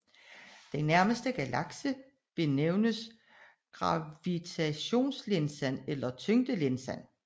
Den nærmere galakse benævnes gravitationslinsen eller tyngdelinsen